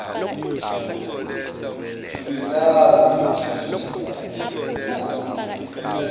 tsumisano godisa nenamac